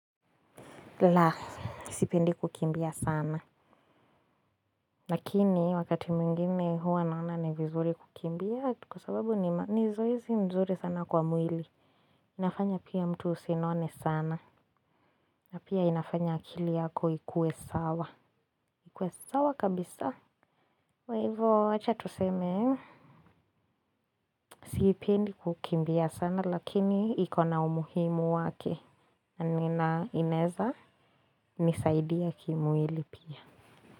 La, sipendi kukimbia sana. Lakini wakati mwingine huwa naona ni vizuri kukimbia kwa sababu ni zoezi mzuri sana kwa mwili. Inafanya pia mtu usinone sana. Na pia inafanya akili yako ikue sawa. Ikue sawa kabisa. Kwa ivo, acha tuseme, sipendi kukimbia sana, lakini iko na umuhimu wake. Nina inaeza, nisaidia kimwili pia.